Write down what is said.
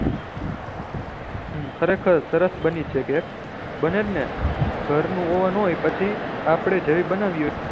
ખરે ખર સરસ બની છે કેક બને જ ને ઘર નું ઓવન હોય પહચી આપળે જેવી બનાવી હોય